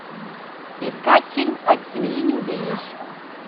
искать фильм от семьи не убежишь